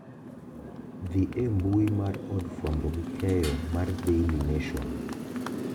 Dhi embui mar od fwambo gi keyo mar daily nation